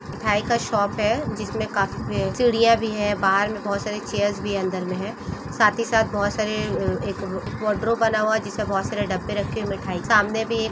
मिठाई का शॉप है जिसमे काफी सी-सीडिया भि है बहार मे बहुत सारी चेयर भि अदर मे है साथी साथ बहुत सारे एक कटोरो बना हुआ है जिसमे बहुत सारे डब्बे रखे हुए है मिठाई सामने भी एक --